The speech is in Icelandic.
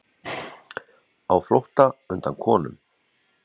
Á flótta undan konum